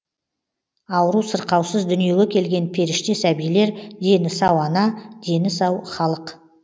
ауру сырқаусыз дүниеге келген періште сәбилер дені сау ана дені сау халық